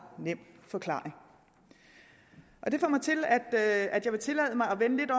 nem forklaring og det gør at jeg vil tillade mig